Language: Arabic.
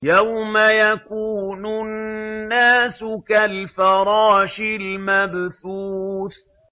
يَوْمَ يَكُونُ النَّاسُ كَالْفَرَاشِ الْمَبْثُوثِ